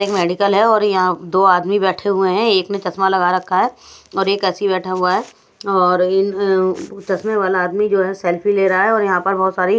एक मेडिकल है और यहां दो आदमी बैठे हुए हैं एक ने चश्मा लगा रखा है और एक ऐसी बैठा हुआ है और इन अं चश्मे वाला आदमी जो है सेल्फी ले रहा है और यहां पर बहोत सारी --